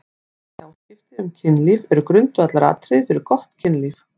Góð tjáskipti um kynlíf eru grundvallaratriði fyrir gott kynlíf.